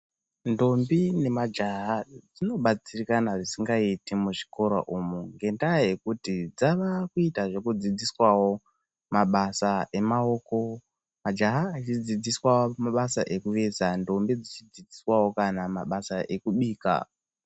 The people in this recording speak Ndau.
Ntombi nemajaha dzinobatsirikana zvisingaiti muzvikora umwu ngendaa yekuti dzavakuita zvekudzidziswavo mabasa emaoko. Majaha eidzidziswa mabasa ekuveza, ntombi dzichidzidziswavo kana mabasa ekubika.